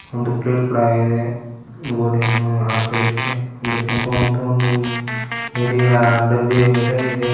ಒಂದು ಪ್ಲೇಟ್ ಕೊಡ ಇದೆ ಗೋಲಿಯನ್ನು ಆಕಳಕ್ಕೆ ಒಂದು ಕೆಂಪು ಮತ್ತು ಒಂದು ನೀಲಿಯ ಡಬ್ಬಿ ಮೇಲೆ ಇದೆ.